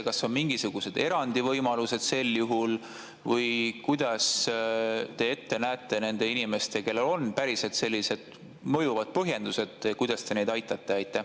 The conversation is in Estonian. Kas on mingisugused erandivõimalused sel juhul või kuidas te nende inimeste puhul, kellel on päriselt sellised mõjuvad põhjendused, näete ette, et te neid aitate?